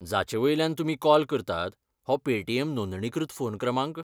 जाचे वयल्यान तुमी कॉल करतात, हो पेटीएम नोंदणीकृत फोन क्रमांक?